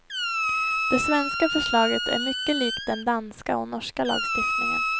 Det svenska förslaget är mycket likt den danska och norska lagstiftningen.